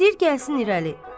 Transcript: İstəyir gəlsin irəli.